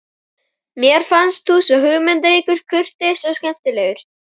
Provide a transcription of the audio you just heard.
Mér fannst þú svo hugmyndaríkur, kurteis og skemmtilegur.